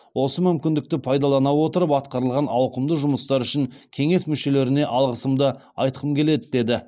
осы мүмкіндікті пайдалана отырып атқарылған ауқымды жұмыстар үшін кеңес мүшелеріне алғысымды айтқым келеді деді